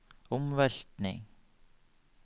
omveltning